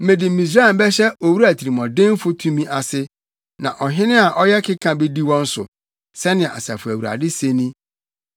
Mede Misraim bɛhyɛ owura tirimuɔdenfo tumi ase, na ɔhene a ɔyɛ keka bedi wɔn so,” sɛnea Asafo Awurade se ni.